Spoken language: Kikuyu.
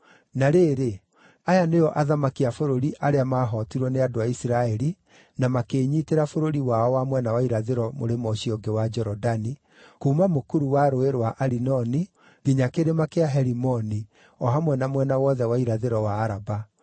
Na rĩrĩ, aya nĩo athamaki a bũrũri arĩa maahootirwo nĩ andũ a Isiraeli na makĩĩnyiitĩra bũrũri wao wa mwena wa irathĩro mũrĩmo ũcio ũngĩ wa Jorodani, kuuma mũkuru wa Rũũĩ rwa Arinoni nginya kĩrĩma kĩa Herimoni, o hamwe na mwena wothe wa irathĩro wa Araba: